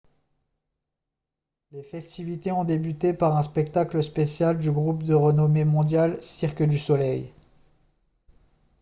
les festivités ont débuté par un spectacle spécial du groupe de renommée mondiale cirque du soleil